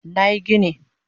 Nayi gini